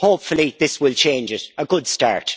Hopefully this will change it. A good start.